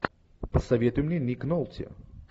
посоветуй мне ник нолти